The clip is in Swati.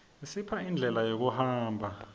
isipha indlela yokuhamba